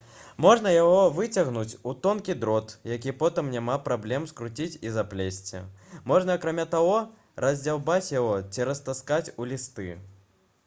можна яго выцягнуць у тонкі дрот які потым няма праблем скруціць і заплесці можна акрамя таго раздзяўбаць яго ці раскатаць у лісты